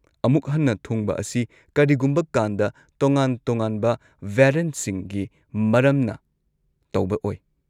ꯑꯃꯨꯛ ꯍꯟꯅ ꯊꯨꯡꯕ ꯑꯁꯤ ꯀꯔꯤꯒꯨꯝꯕ ꯀꯥꯟꯗ ꯇꯣꯉꯥꯟ-ꯇꯣꯉꯥꯟꯕ ꯚꯦꯔꯤꯌꯦꯟꯠꯁꯤꯡꯒꯤ ꯃꯔꯝꯅ ꯇꯧꯕ ꯑꯣꯢ꯫